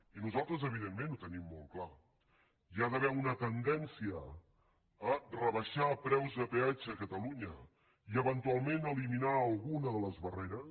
i nosaltres evidentment ho tenim molt clar hi ha d’haver una tendència a rebaixar preus de peatge a catalunya i eventualment eliminar alguna de les barreres